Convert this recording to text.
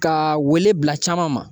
Ka wele bila caman ma